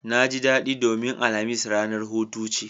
Naji daɗi domin alhamis ranar hutu ce